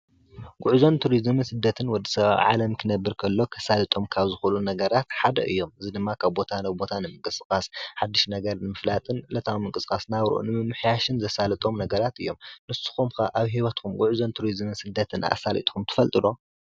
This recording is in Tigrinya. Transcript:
ጉዕዞን ቱሪዝምን ስደት ወድሰብ ኣብ ዓለም ክነብር ከሎ ከሳልጦም ካብ ዝኽእሎም ነገራት ሓደ እዬም ። እዚ ድማ ካብ ቦታ ናብ ቦታ ንምንቅስቃስ ሓድሽ ነገር ንምፍላጥን ዕለታዊ ምንቅስቃስ ናብርኡ ንምምሕያሽን ዘሳልጦም ነገራት እዬም። ንሱኹም ኸ ኣብ ሂወትኩም ጉዕዞን ቱሪዝምን ስደትን ኣሳሊጥኩም ትፈልጡ ዶ?